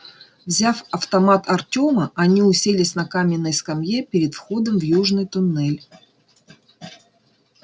взяв автомат артёма они уселись на каменной скамье перед входом в южный туннель